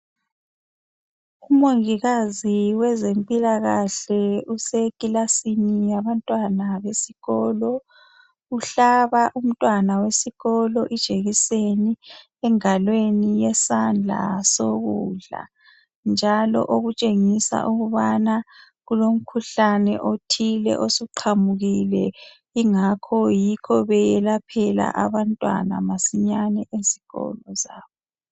Umongikazi wezempilakahle usekilasini yabantwana besikolo. Uhlaba umntwana wesikolo ijekiseni engalweni yesandla sokudla njalo okutshengisa ukubana kulomkhuhlane othile osuqhamukile ingakho beyelaphela abantwana masinya esikolo sabo.